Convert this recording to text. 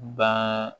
Ban